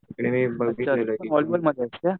तिकडे मी